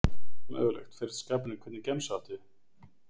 Allt mögulegt, fer eftir skapinu Hvernig gemsa áttu?